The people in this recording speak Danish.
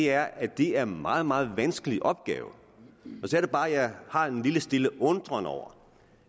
er at det er en meget meget vanskelig opgave så er det bare jeg har en lille og stille undren over